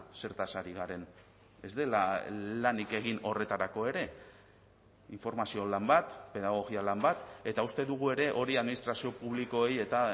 zertaz ari garen ez dela lanik egin horretarako ere informazio lan bat pedagogia lan bat eta uste dugu ere hori administrazio publikoei eta